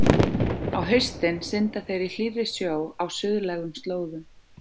Á haustin synda þeir í hlýrri sjó á suðlægum slóðum.